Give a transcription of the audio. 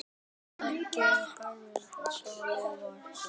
Það var sko besta svarið.